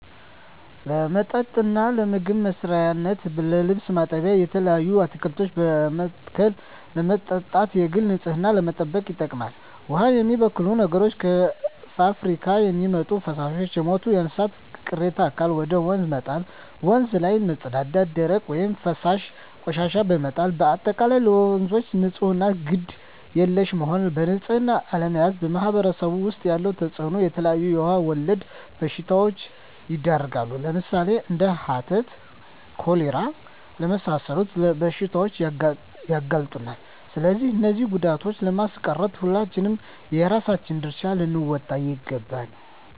ለመጠጥነት ለምግብ መስሪያነት ለልብስ ማጠቢያነት የተለያዩ አትክልቶችን በመትከል ለማጠጣት የግል ንፅህናን ለመጠበቅ ይጠቅማል ዉሃን የሚበክሉ ነገሮች - ከፍብሪካ የሚወጡ ፈሳሾች - የሞቱ የእንስሳት ቅሬታ አካል ወደ ወንዝ መጣል - ወንዝ ላይ መፀዳዳት - ደረቅ ወይም ፈሳሽ ቆሻሻዎችን በመጣል - በአጠቃላይ ለወንዞች ንፅህና ግድ የለሽ መሆን በንፅህና አለመያዝ በማህበረሰቡ ዉስጥ ያለዉ ተፅእኖ - የተለያዩ የዉሃ ወለድ በሽታዎች ይዳረጋሉ ለምሳሌ፦ እንደ ሀተት፣ ኮሌራ ለመሳሰሉት በሽታዎች ያጋልጡናል ስለዚህ እነዚህን ጉዳቶችን ለማስቀረት ሁላችንም የየራሳችን ድርሻ ልንወጣ ይገባል